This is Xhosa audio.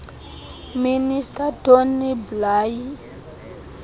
minister tony blair